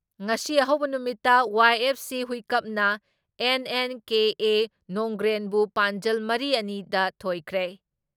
ꯉꯁꯤ ꯑꯍꯧꯕ ꯅꯨꯃꯤꯠꯇ ꯋꯥꯏ.ꯑꯦꯐ.ꯁꯤ ꯍꯨꯏꯀꯞꯅ ꯑꯦꯟ.ꯑꯦꯟ.ꯀꯦ.ꯑꯦ ꯅꯣꯡꯒ꯭ꯔꯦꯟꯕꯨ ꯄꯥꯟꯖꯜ ꯃꯔꯤ ꯑꯅꯤ ꯗ ꯊꯣꯏꯈ꯭ꯔꯦ ꯫